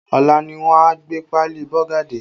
Ọ̀la ni wọ́n a gbé páálí Bọ́gà dé